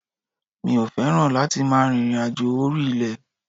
Mi ò fẹ́ràn láti máa rìnrìnàjò orí ilẹ̀.